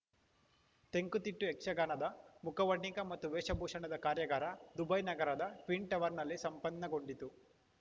ತೆಂಕುತಿಟ್ಟು ಯಕ್ಷಗಾನದ ಮುಖವರ್ಣಿಕೆ ಮತ್ತು ವೇಷಭೂಷಣದ ಕಾರ್ಯಗಾರ ದುಬೈ ನಗರದ ಟ್ವಿನ್‌ಟರ್ವನಲ್ಲಿ ಸಂಪನ್ನಗೊಂಡಿತು